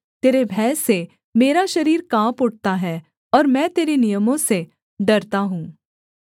तेरे भय से मेरा शरीर काँप उठता है और मैं तेरे नियमों से डरता हूँ